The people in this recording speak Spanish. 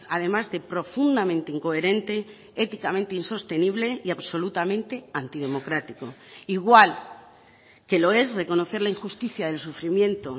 además de profundamente incoherente éticamente insostenible y absolutamente antidemocrático igual que lo es reconocer la injusticia del sufrimiento